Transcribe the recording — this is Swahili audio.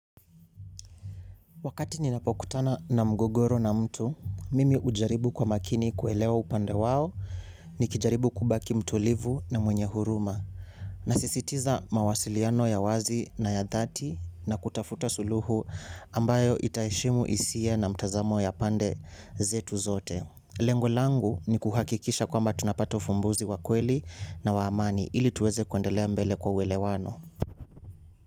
Wakati ninapokutana na mgogoro na mtu, mimi hujaribu kwa makini kuelewa upande wao, nikijaribu kubaki mtulivu na mwenye huruma. Nasisitiza mawasiliano ya wazi na ya dhati na kutafuta suluhu ambayo itaheshimu hisia na mtazamo ya pande zetu zote. Lengo langu ni kuhakikisha kwamba tunapata ufumbuzi wa kweli na wa amani ili tuweze kuendelea mbele kwa ueewano.